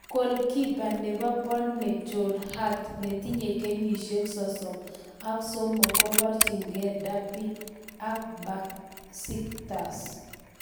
Goalkeeper nebo Burnley Joe Hart netinye kenyisiek sosomak somok ,koborchingei Derby ak Besiktas